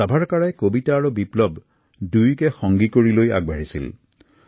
ছাভাৰকাৰে কবিতা আৰু বিপ্লৱক একেলগ কৰি আগবাঢ়িছিল